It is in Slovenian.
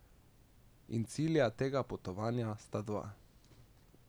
In cilja tega potovanja sta dva.